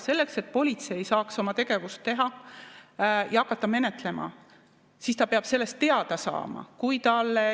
Selleks, et politsei saaks oma tegevust teha ja hakata menetlema, ta peab sellest teada saama.